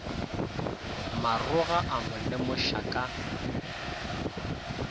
maroga a mo lemoša ka